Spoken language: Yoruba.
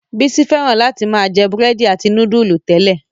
Bísí fẹ́ràn láti máa jẹ búrẹ́dì àti núdúlù tẹ́lẹ̀.